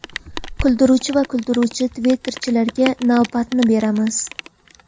Kuldiruvchi va kuydiruvchi Twitter’chilarga navbatni beramiz.